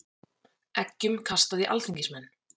Eggjum kastað í alþingismenn